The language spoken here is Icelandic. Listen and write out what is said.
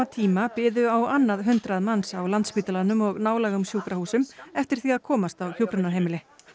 tíma biðu á annað hundrað manns á Landspítalanum og nálægum sjúkrahúsum eftir því að komast á hjúkrunarheimili